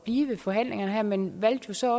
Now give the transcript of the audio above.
i forhandlingerne her men valgte så